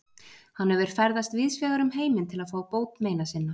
Hann hefur ferðast víðsvegar um heiminn til að fá bót meina sinna.